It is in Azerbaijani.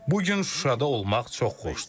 Bu gün Şuşada olmaq çox xoşdur.